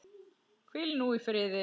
Hvíl nú í friði.